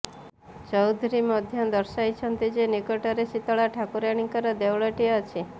ଚୌଧୁରୀ ମଧ୍ୟ ଦର୍ଶାଇଛନ୍ତି ଯେ ନିକଟରେ ଶୀତଳା ଠାକୁରାଣୀଙ୍କର ଦେଉଳଟିଏ ଅଛି